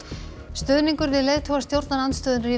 stuðningur við leiðtoga stjórnarandstöðunnar í